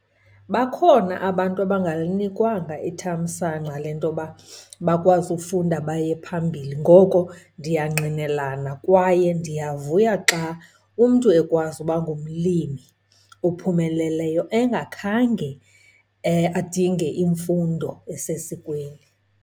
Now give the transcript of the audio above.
Bakhona abantu abangalinikwanga ithamsanqa lentoba bakwazi ufunda baye phambili. Ngoko ndiyangqinelana kwaye ndiyavuya xa umntu ekwazi uba ngumlimi ophumeleleyo engakhange adinge imfundo esesikweni.